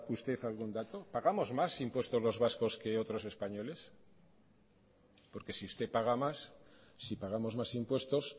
usted algún dato pagamos más impuestos los vascos que otros españoles porque si usted paga más si pagamos más impuestos